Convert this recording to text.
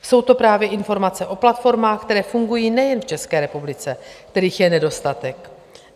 Jsou to právě informace o platformách, které fungují nejen v České republice, kterých je nedostatek.